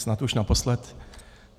Snad už naposled.